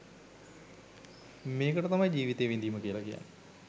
මේකට තමයි ජීවිතය විඳීම කියලා කියන්නෙ